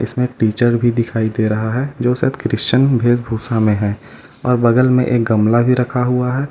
इसमें टीचर भी दिखाई दे रहा है जो शायद क्रिस्टियन भेष भूषा में है और बगल में एक गमला भी रखा हुआ है।